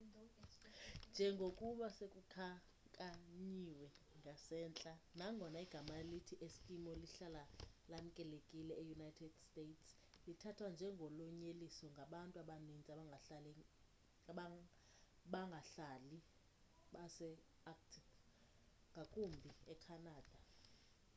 njengokuba sekukhankanyiwe ngasentla nangona igama elithi eskimo lihlala lamkelekile eunited states lithathwa njengolonyeliso ngabantu abaninzi abangahlali base-arctic ngakumbi ecanada